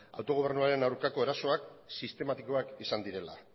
autogobernuaren aurkako erasoak sistematikoak izan direla